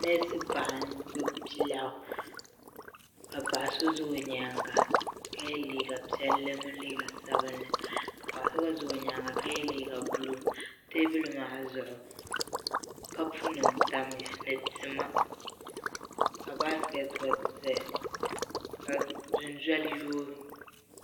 Nɛsi paɣa n gbubi bia lɛɣu ka paɣa so za o yɛanga ka ye liiga piɛlli mini liiga sabinli ka paɣa so mi za o yɛanga ka ye liiga buluu tɛɛbuli maa zuɣu kapu nima tamiya ni tima ka baaiketi gba zaya ka di noli yoogi.